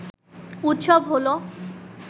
উৎসব হলো